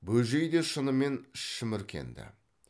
бөжей де шынымен шіміркенді